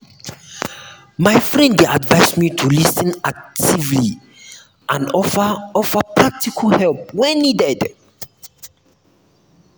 my friend dey advise me to lis ten actively and offer offer practical help when needed.